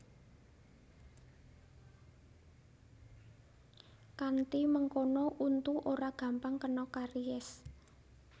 Kanthi mengkono untu ora gampang kena karies